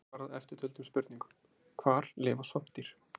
Hér er svarað eftirtöldum spurningum: Hvar lifa svampdýr?